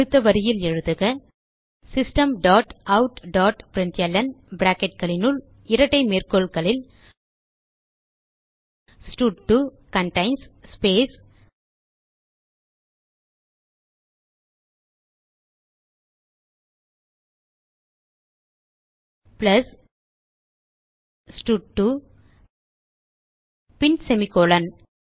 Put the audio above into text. அடுத்த வரியில் எழுதுக system dot out dot println bracketகளினுள் இரட்டை மேற்கோள்களில் ஸ்டட்2 கன்டெயின்ஸ் ஸ்பேஸ் பிளஸ் ஸ்டட்2 பின் செமிகோலன்